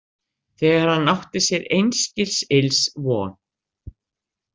Þegar hann átti sér einskis ills von.